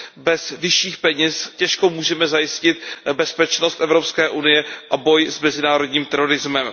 Bez vyšších peněz těžko můžeme zajistit bezpečnost Evropské unie a boj s mezinárodním terorismem.